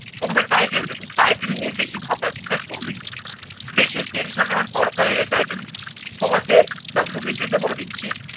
প্রথমে title দেবে। title নিয়ে বেশি ভাবনা চিন্তা করবেন না। বেশি tension নেওয়ার দরকারই নেই title নিয়ে। তোমাকে WBCS তে বলে দিচ্ছি